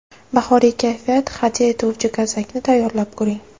Bahoriy kayfiyat hadya etuvchi gazakni tayyorlab ko‘ring.